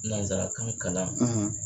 Nanzarakan kalan.